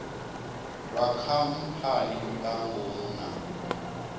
lwa khamphani nga ngomu na